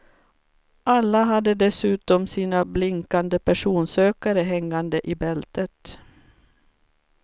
Alla hade dessutom sina blinkande personsökare hängande i bältet.